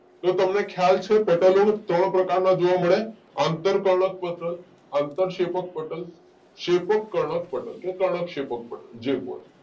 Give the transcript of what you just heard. તો તમને ખ્યાલ છે પટલો ત્રણ પ્રકારના જોવા મળે આંતરકર્ણકપટલ, આંતરશેપક્પટલ, શેપકકર્ણકપટલ કે કર્ણકશેપકપટલ જે બોલો